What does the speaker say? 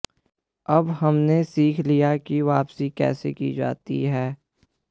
अब हमने सीख लिया है कि वापसी कैसे की जाती है